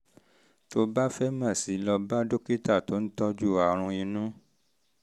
tó o bá fẹ́ mọ̀ sí i lọ bá dókítà tó ń tọ́jú àrùn inú